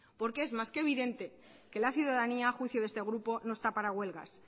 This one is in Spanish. es más que evidente que la ciudadanía a juicio de este grupo no está para huelgas